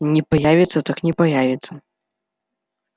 не появится так не появится